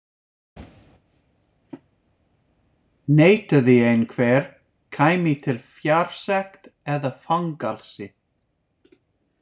Neitaði einhver, kæmi til fjársekt eða fangelsi.